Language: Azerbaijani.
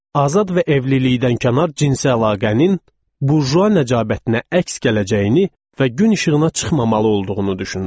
Azad və evlilikdən kənar cinsi əlaqənin burjua nəcabətinə əks gələcəyini və gün işığına çıxmamalı olduğunu düşünürdü.